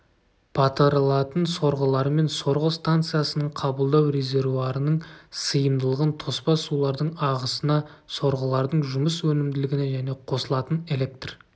батырылатын сорғылармен сорғы станциясының қабылдау резервуарының сыйымдылығын тоспа сулардың ағысына сорғылардың жұмыс өнімділігіне және қосылатын электр